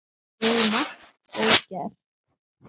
Við eigum margt ógert.